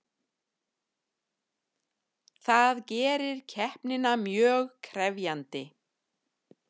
Það gerir keppnina mjög krefjandi